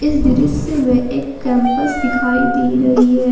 इस दृश्य मे एक कैंपस दिखाई दे रही है।